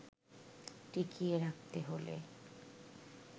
টিকিয়ে রাখতে হলে